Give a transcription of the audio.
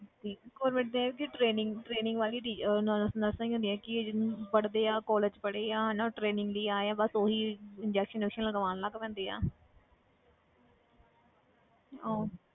ਤੇ government ਦਾ ਇਹ ਹੈ ਕਿ ਉਹ training training ਵਾਲੀ ਡੀ~ ਅਹ nurse nurses ਹੀ ਹੁੰਦੀਆਂ ਕਿ ਪੜ੍ਹਦੇ ਆ college ਪੜ੍ਹੇ ਆ ਜਾਂ ਹਨਾ ਉਹ training ਲਈ ਆਏ ਆ ਬਸ ਉਹ ਹੀ injection ਇੰਜੂਕਸਨ ਲਗਵਾਉਣ ਲੱਗ ਪੈਂਦੇ ਆ ਉਹ